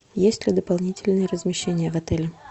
есть ли дополнительное размещение в отеле